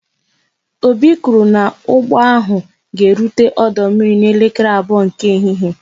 Obi kwụrụ n'ụgbọ ahụ ga erute ọdụ mmiri n'elekere abụọ nke ehihie